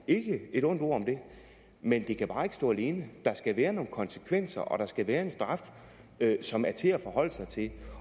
ikke et ondt ord om det men det kan bare ikke stå alene der skal være nogle konsekvenser og der skal være en straf som er til at forholde sig til